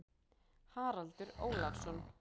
Haraldur Ólafsson.